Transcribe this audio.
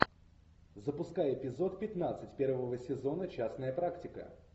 запускай эпизод пятнадцать первого сезона частная практика